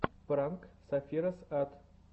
пранк сэфироз ат